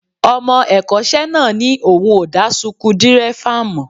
Ọmọ ẹ̀kọ́ṣẹ́ náà ní òun ò dá suku dírẹ́fà mọ̀